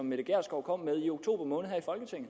mette gjerskov kom med i oktober måned her